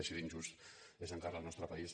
així d’injust és encara el nostre país